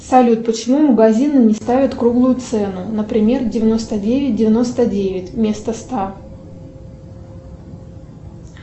салют почему магазины не ставят круглую цену например девяносто девять девяносто девять вместо ста